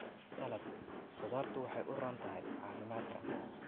Salad khudaartu waxay u roon tahay caafimaadka.